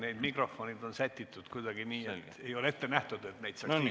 Need mikrofonid on sätitud kuidagi nii, et ei ole ette nähtud neid puudutada.